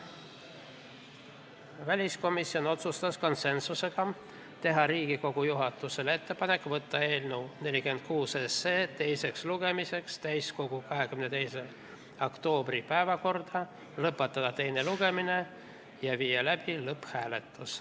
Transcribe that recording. Väliskomisjon otsustas konsensuse alusel teha Riigikogu juhatusele ettepaneku võtta eelnõu 46 teiseks lugemiseks 22. oktoobriks täiskogu päevakorda, lõpetada teine lugemine ja viia läbi lõpphääletus.